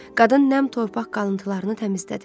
Qadın nəm torpaq qalıntılarını təmizlədi.